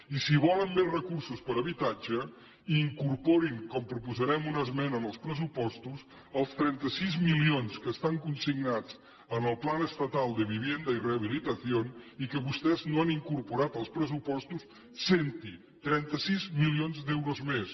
i si volen més recursos per a habitatge incorporin com proposarem una esmena en els pressupostos els trenta sis milions que estan consignats en el plan estatal de vivienda y rehabilitación i que vostès no han incorporat als pressupostos sent hi trenta sis milions d’euros més